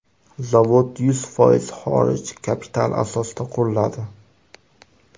Zavod yuz foiz xorij kapitali asosida quriladi.